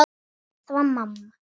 Það var mamma.